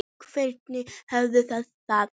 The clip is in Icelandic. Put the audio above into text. Hvernig hafið þið það?